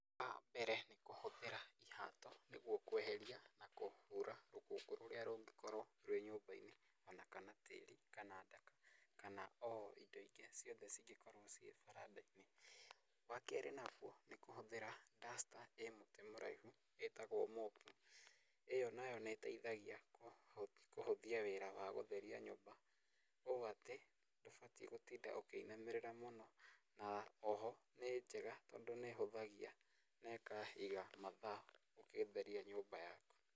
Wambere nĩ kũhũthĩra ihaato nĩguo kweheria na kũhuura rũkũngũ rũrĩa rũngĩkorwo rwĩ nyũmba-inĩ ona kana tĩĩri kana ndaka kana o indo ingĩ ciothe cingĩkorwo ciĩ baranda-inĩ. Wakerĩ naguo ni kũhũthĩra duster ĩ mũtĩ mũraihu iitagwo mopu, ĩyo nayo nĩĩteithagia kũhũthia wĩra wa gũtheria nyũmba ũũ atĩ ndũbatiĩ gũtinda ũkĩinamĩrĩra mũno na oho nĩnjega tondũ nĩĩhũthagia na ĩkaiga mathaa ũgĩtheria nyũmba yaku.